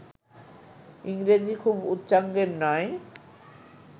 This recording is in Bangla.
ইংরেজি খুব উচ্চাঙ্গের নয়